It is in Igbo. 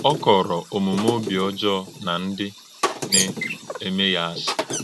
Ọ kọ̀rọ̀̄ òmùmè̄ òbí ọ́jọọ̄ na ndị́ na - èmè̄ ya àsị̀.